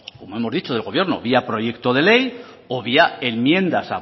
como hemos dicho del gobierno vía proyecto de ley o vía enmiendas